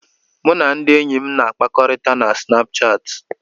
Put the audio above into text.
Mụ na ndị enyi m na-akpakọrịta na Sinapuchati.